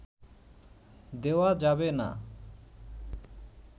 দেওয়া যাবে না